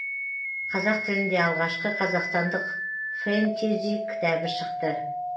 қазақ тілінде алғашқы қазақстандық фэнтези кітабы шықты